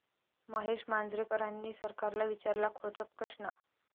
महेश मांजरेकरांनी सरकारला विचारला खोचक प्रश्न